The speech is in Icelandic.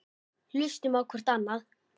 Hlustum á hvort annað.